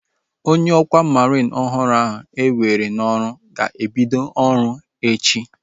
Onye ọkwá mariin ọhụrụ ahu ewere n'ọrụ ga-ebido ọrụ echi